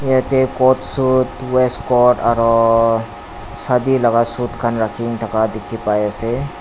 yatae coat suit waist coat aroo shadi laka suit khan rakhina dikhi paiase.